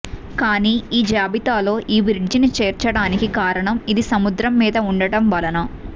కాని ఈ జాబితాలో ఈ బ్రిడ్జిని చేర్చడానికి కారణం ఇది సముద్రం మీద ఉండటం వలన